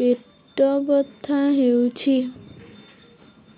ପେଟ ବଥା ହେଉଛି